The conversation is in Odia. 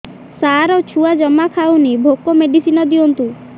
ସାର ଛୁଆ ଜମା ଖାଉନି ଭୋକ ମେଡିସିନ ଦିଅନ୍ତୁ